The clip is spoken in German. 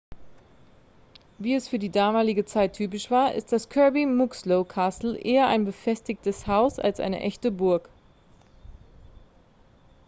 wie es für die damalige zeit typisch war ist das kirby muxloe castle eher ein befestigtes haus als eine echte burg